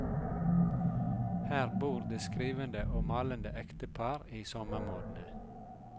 Her bor det skrivende og malende ektepar i sommermånedene.